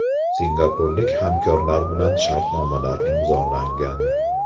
Singapurlik hamkorlar bilan shartnomalar imzolangan.